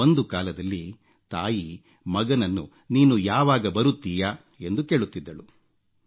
ಒಂದು ಕಾಲದಲ್ಲಿ ತಾಯಿ ಮಗನನ್ನು ನೀನು ಯಾವಾಗ ಬರುತ್ತೀಯಾ ಎಂದು ಕೇಳುತ್ತಿದ್ದಳು